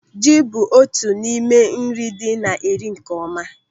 Ji bụ otu n'ime nri dị na-eri nkeọma.